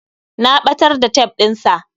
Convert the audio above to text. Na ɓatar da tef ɗin sa